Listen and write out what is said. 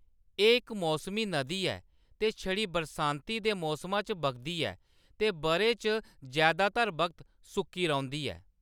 एह्‌‌ इक मौसमी नदी ऐ ते छड़ी बरसांती दे मौसमा च बगदी ऐ ते बʼरे च जैदातर वक्त सुक्की रौंह्‌‌‌दी ऐ।